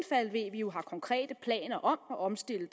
jo har konkrete planer om at omstille